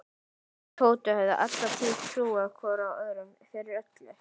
Þeir Tóti höfðu alla tíð trúað hvor öðrum fyrir öllu.